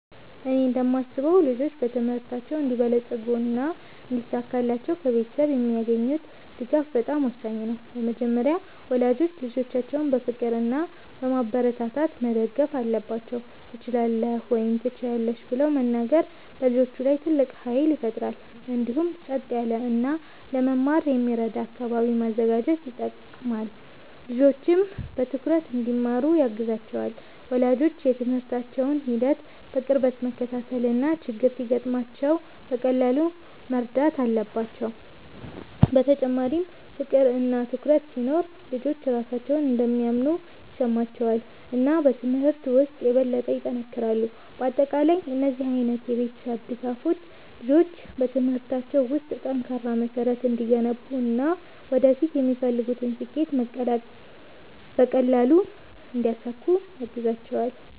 እኔ እንደማስበው ልጆች በትምህርታቸው እንዲበለጽጉና እንዲሳካላቸው ከቤተሰብ የሚያገኙት ድጋፍ በጣም ወሳኝ ነው። በመጀመሪያ ወላጆች ልጆቻቸውን በፍቅር እና በማበረታታት መደገፍ አለባቸው፤ “ትችላለህ” ወይም “ትችያለሽ ” ብለው መናገር በልጆች ላይ ትልቅ ኃይል ይፈጥራል። እንዲሁም ጸጥ ያለ እና ለመማር የሚረዳ አካባቢ ማዘጋጀት ይጠቅማል፣ ልጆችም በትኩረት እንዲማሩ ያግዛቸዋል። ወላጆች የትምህርታቸውን ሂደት በቅርበት መከታተል እና ችግር ሲገጥማቸው በቀላሉ መርዳት አለባቸው። በተጨማሪም ፍቅር እና ትኩረት ሲኖር ልጆች ራሳቸውን እንደሚያምኑ ይሰማቸዋል እና በትምህርት ውስጥ የበለጠ ይጠነክራሉ። በአጠቃላይ እነዚህ ዓይነት የቤተሰብ ድጋፎች ልጆች በትምህርታቸው ውስጥ ጠንካራ መሠረት እንዲገነቡ እና ወደፊት የሚፈልጉትን ስኬት በቀላሉ እንዲያሳኩ ያግዛቸዋል።